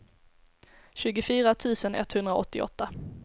tjugofyra tusen etthundraåttioåtta